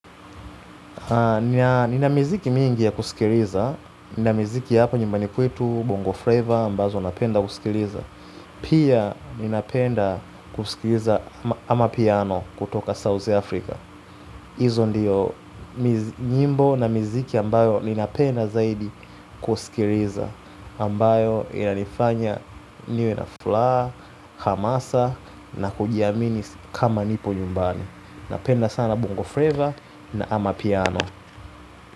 Nina miziki mingi ya kusikiliza. Nina miziki ya hapa nyumbani kwetu Bongo Fleva ambazo napenda kusikiliza. Pia ninapenda kusikiliza amapiano kutoka South Africa hizo ndiyo nyimbo na miziki ambayo ninapenda zaidi kusikiliza ambayo inanifanya niwe na furaha, hamasa na kujiamini kama nipo nyumbani. Napenda sana Bongo Fleva na amapiano.